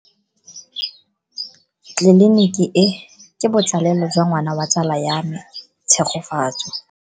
Tleliniki e, ke botsalelo jwa ngwana wa tsala ya me Tshegofatso.